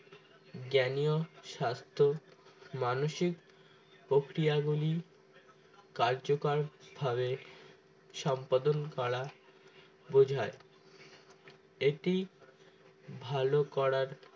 জ্ঞানী ও স্বাস্থ্য মানসিক প্রক্রিয়াগুলি কার্যকর ভাবে সম্পাদন করা বোঝায় এটি ভালো করার